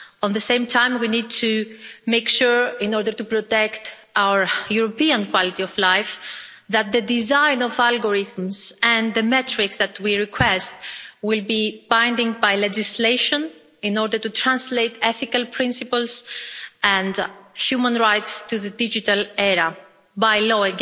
At the same time we need to make sure, in order to protect our European quality of life, that the design of algorithms, and the metrics that we request, will be bound by legislation in order to translate ethical principles and human rights to the digital era by law